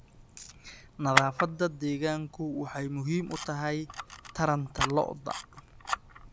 Nadaafadda deegaanku waxay muhiim u tahay taranta lo'da.